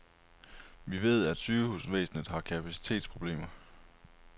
Vi ved, at sygehusvæsenet har kapacitetsproblemer.